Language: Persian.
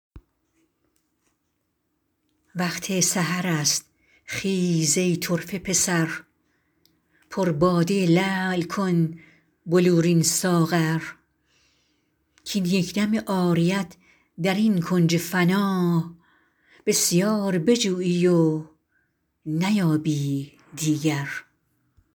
وقت سحر است خیز ای طرفه پسر پر باده لعل کن بلورین ساغر کاین یک دم عاریت در این کنج فنا بسیار بجویی و نیابی دیگر